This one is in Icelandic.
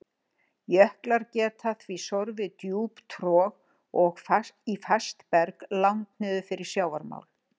Jöklar geta því sorfið djúp trog í fast berg langt niður fyrir sjávarmál.